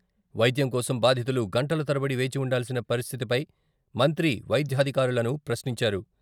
వైద్యం కోసం బాధితులు గంటల తరబడి వేచి ఉండాల్సిన పరిస్థితిపై మంత్రి వైద్యాధికారులను ప్రశ్నించారు.